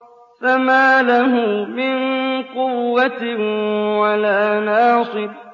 فَمَا لَهُ مِن قُوَّةٍ وَلَا نَاصِرٍ